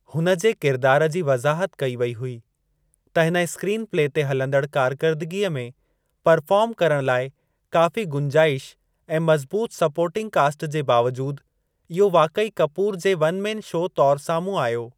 हुन जे किरिदार जी वज़ाहत कई वेई हुई त हिन स्क्रीन प्ले ते हलंदड़ कार्करदगी में परफ़ार्म करणु लाइ काफ़ी गुंजाइश ऐं मज़बूतु सपोर्टिंग कास्टि जे बावजूदि, इहो वाक़ई कपूर जे वन में शो तौर साम्हूं आयो।